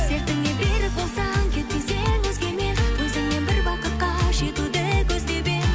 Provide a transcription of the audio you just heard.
сертіңе берік болсаң кетпес едің өзгемен өзіңмен бір бақытқа жетуді көздеп едім